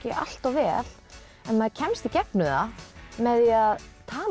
allt of vel en maður kemst í gegnum það með því að tala